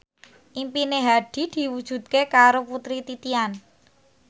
impine Hadi diwujudke karo Putri Titian